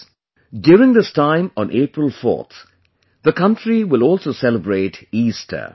Friends, during this time on April 4, the country will also celebrate Easter